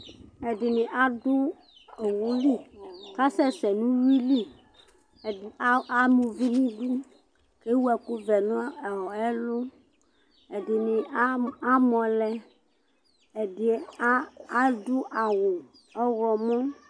Ɛɖɩnɩ aɖu owu lɩ, kasɛşɛ nu uwui lɩ Ɛɖi a amuvɩ nɩɖu ke wu ɛku vɛ nɔ ɛ ɛlu Ɛɖɩnɩ a amɔ lɛ ɛɖɩ a aɖu ɔwu ɔɣlɔ mɔ